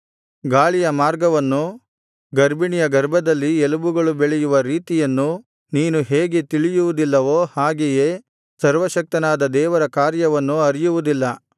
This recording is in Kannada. ಗಾಳಿಯ ಮಾರ್ಗವನ್ನೂ ಗರ್ಭಿಣಿಯ ಗರ್ಭದಲ್ಲಿ ಎಲುಬುಗಳು ಬೆಳೆಯುವ ರೀತಿಯನ್ನೂ ನೀನು ಹೇಗೆ ತಿಳಿಯುವುದಿಲ್ಲವೋ ಹಾಗೆಯೇ ಸರ್ವಶಕ್ತನಾದ ದೇವರ ಕಾರ್ಯವನ್ನು ಅರಿಯುವುದಿಲ್ಲ